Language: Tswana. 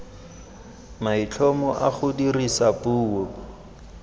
maitlhomo a go dirisa puo